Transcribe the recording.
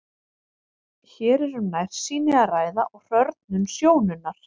Hér er um nærsýni að ræða og hrörnun sjónunnar.